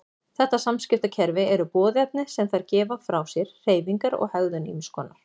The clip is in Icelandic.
Þetta samskiptakerfi eru boðefni sem þær gefa frá sér, hreyfingar og hegðun ýmiss konar.